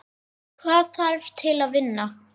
Hvað þarf til að vinna?